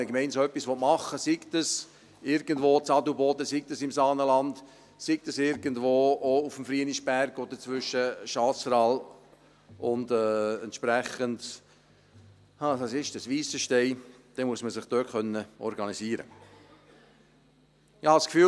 Wenn eine Gemeinde so etwas machen will, sei es in Adelboden, sei es im Saanenland, sei es irgendwo auf dem Frienisberg oder zwischen Chasseral und Weissenstein, dann muss man sich dort organisieren können.